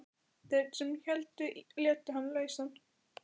Þeir sem héldu létu hann lausan.